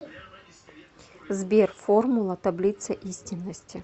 сбер формула таблица истинности